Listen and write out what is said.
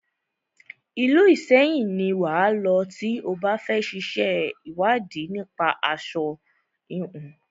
Ìlú Ìṣẹyìn ni wà á lọ tí o bá fẹ ṣe ìwádìí nípa aṣo híhun.